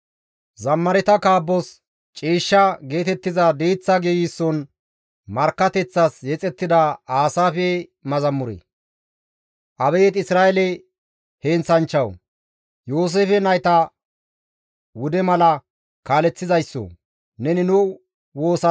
Abeet Isra7eele heenththanchchawu! Yooseefe nayta wude mala kaaleththizayssoo! Neni nu woosa siya; Kirubeta bollara diza araatan uttidayssoo! Ne poo7on qoncca.